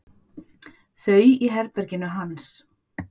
Þau í herberginu hans.